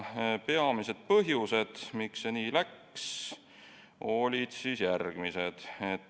Peamised põhjused, miks see nii läks, olid järgmised.